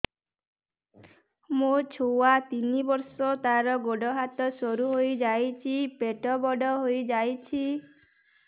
ମୋ ଛୁଆ ତିନି ବର୍ଷ ତାର ଗୋଡ ହାତ ସରୁ ହୋଇଯାଉଛି ପେଟ ବଡ ହୋଇ ଯାଉଛି